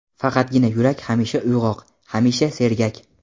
Faqatgina yurak hamisha uyg‘oq, hamisha sergak.